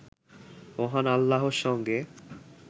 মহান আল্লাহর সঙ্গে